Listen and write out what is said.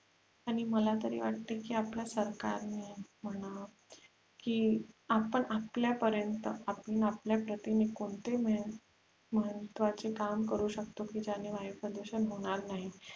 आणि मला तरी वाटते की आपल्या सरकारने म्हणा की आपण आपल्या पर्यंत आपण आपल्या प्रतीने कोणते महत्वाचे काम करू शकतो की ज्याने वायु प्रदुषण होणार नाही